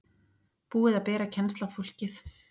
Búið að bera kennsl á fólkið